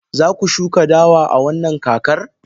Za ku shuka dawa a wannan kakar?